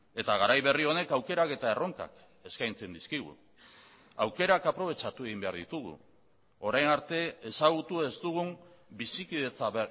eta garai berri honek aukerak eta erronkak eskaintzen dizkigu aukerak aprobetxatu egin behar ditugu orain arte ezagutu ez dugun bizikidetza